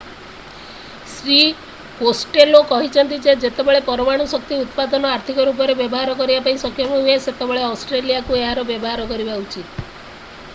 Shri Costello କହିଛନ୍ତି ଯେ ଯେତେବେଳେ ପରମାଣୁ ଶକ୍ତି ଉତ୍ପାଦନ ଆର୍ଥିକ ରୂପରେ ବ୍ୟବହାର କରିବା ପାଇଁ ସକ୍ଷମ ହୁଏ ସେତେବେଳେ ଅଷ୍ଟ୍ରେଲିଆକୁ ଏହାର ବ୍ୟବହାର କରିବା ଉଚିତ